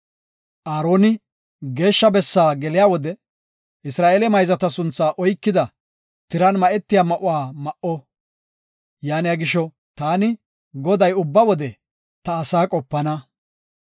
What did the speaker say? “Aaroni Geeshsha bessa geliya wode Isra7eele mayzata sunthaa oykida, tiran ma7etiya ma7uwa ma7o. Yaaniya gisho, taani, Goday ubba wode ta asaa qopana.